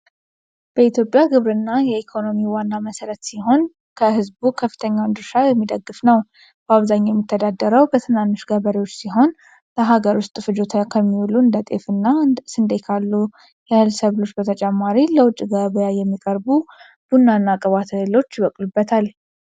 በኢትዮጵያ ግብርና የኢኮኖሚው ዋና መሠረት ሲሆን፣ ከሕዝቡ ከፍተኛውን ድርሻ የሚደግፍ ነው። በአብዛኛው የሚተዳደረው በትናንሽ ገበሬዎች ሲሆን፣ ለሀገር ውስጥ ፍጆታ ከሚውሉ እንደ ጤፍ እና ስንዴ ካሉ የእህል ሰብሎች በተጨማሪ ለውጭ ገበያ የሚቀርቡ ቡናና ቅባት እህሎች ይበቅሉበታል።